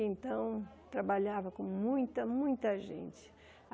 Então, trabalhava com muita, muita gente.